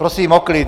Prosím o klid.